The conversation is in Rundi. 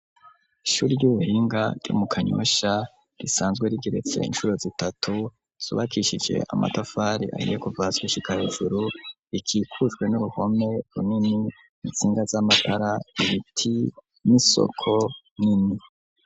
Ishuri ry'ubuhinga ryo mu Kanyosha risanzwe rigeretse incuro zitatu, zubakishije amatafari ahiye kuva hasi gushika hejuru ikikujwe n'uruhome runini intsinga z'amatara, ibiti, n'isoko nini.